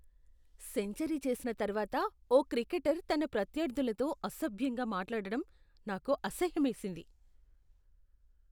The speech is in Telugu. సెంచరీ చేసిన తర్వాత ఓ క్రికెటర్ తన ప్రత్యర్థులతో అసభ్యంగా మాట్లాడటం నాకు అసహ్యమేసింది.